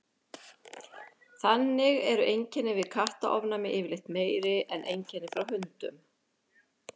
þannig eru einkenni við kattaofnæmi yfirleitt meiri en einkenni frá hundum